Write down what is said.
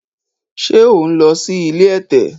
ṣe o n ló sì ilé ẹ̀tẹ̀?